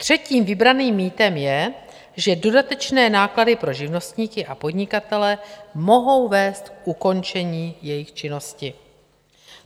Třetím vybraným mýtem je, že dodatečné náklady pro živnostníky a podnikatele mohou vést k ukončení jejich činnosti.